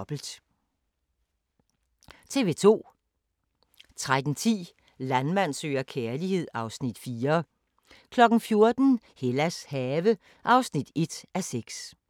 02:00: Cold Case (130:156) 02:45: Cold Case (129:156)*